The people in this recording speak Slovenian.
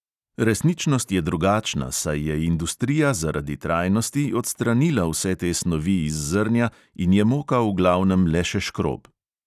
Resničnost je drugačna, saj je industrija zaradi trajnosti odstranila vse te snovi iz zrnja in je moka v glavnem le še škrob.